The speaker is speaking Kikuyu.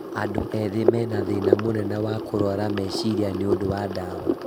Andũ ethĩ mena thĩĩna mũnene wa kũrwara meciria nĩũndũ wa ndawa